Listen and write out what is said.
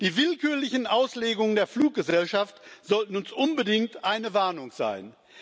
Die willkürlichen Auslegungen der Fluggesellschaften sollten uns unbedingt eine Warnung sein.